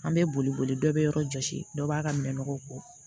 An bɛ boli boli dɔ bɛ yɔrɔ jɔsi dɔ b'a ka mɛn nɔgɔw kɔ